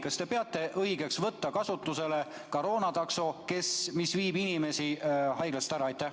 Kas te peate õigeks võtta kasutusele koroonatakso, mis viib inimesi haiglast ära?